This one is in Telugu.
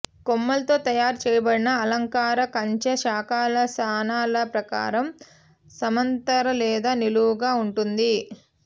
కొమ్మలతో తయారు చేయబడిన అలంకార కంచె శాఖల స్థానాల ప్రకారం సమాంతర లేదా నిలువుగా ఉంటుంది